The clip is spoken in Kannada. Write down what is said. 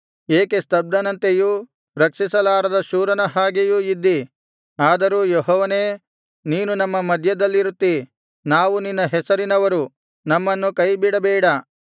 ಏಕೆ ಸ್ತಬ್ಧನಂತೆಯೂ ರಕ್ಷಿಸಲಾರದ ಶೂರನ ಹಾಗೆಯೂ ಇದ್ದೀ ಆದರೂ ಯೆಹೋವನೇ ನೀನು ನಮ್ಮ ಮಧ್ಯದಲ್ಲಿರುತ್ತಿ ನಾವು ನಿನ್ನ ಹೆಸರಿನವರು ನಮ್ಮನ್ನು ಕೈಬಿಡಬೇಡ